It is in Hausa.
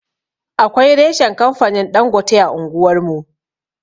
Akwai reshan kamfanin Ɗangote a anguwar mu.